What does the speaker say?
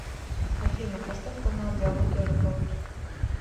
афина поставь канал диалоги о рыбалке